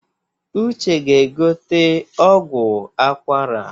Uche ga-egote ọgwụ akwara